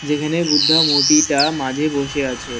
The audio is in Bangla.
যেখানে বুদ্ধা মূর্তিটা মাঝে বসে আছে।